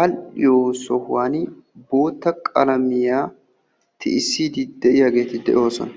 all''iyo sohuwan bootta qalamiyaa tiyyisside de'iyaageeti de'oosona.